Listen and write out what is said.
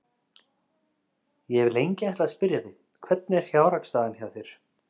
Ég hef lengi ætlað að spyrja þig. hvernig er fjárhagsstaðan hjá þér?